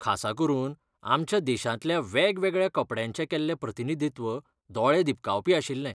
खासा करून, आमच्या देशांतल्या वेगवेगळ्या कपड्यांचें केल्लें प्रतिनिधित्व दोळे दिपकावपी आशिल्लें.